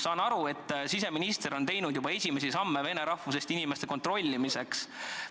Saan aru, et siseminister on teinud juba esimesi samme vene rahvusest inimeste kontrollimiseks.